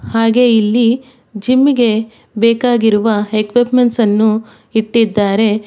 ಹಾಗೆ ಇಲ್ಲಿ ಜಿಮ್ಮಿ ಗೆ ಬೇಕಾಗಿರುವ ಎಕ್ವಿಪ್ಮೆಂಟ್ಸ್ ಅನ್ನು ಇಟ್ಟಿದ್ದಾರೆ.